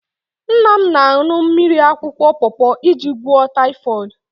Nna m na-aṅụ mmiri akwụkwọ pọọpọ iji gwụọ taịfọd.